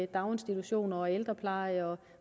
daginstitutioner ældrepleje